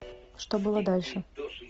что было дальше